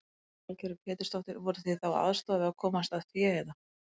Lillý Valgerður Pétursdóttir: Voruð þið þá að aðstoða við að komast að fé eða?